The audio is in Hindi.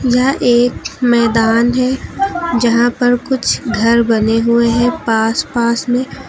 यह एक मैदान है जहां पर कुछ घर बने हुए हैं पास पास में।